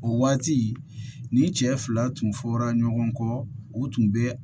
O waati ni cɛ fila tun fɔra ɲɔgɔn kɔ u tun bɛ